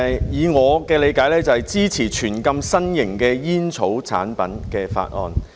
以我的理解，這是支持全面禁止新型煙草產品的法案。